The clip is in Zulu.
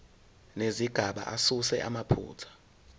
nezigaba asuse amaphutha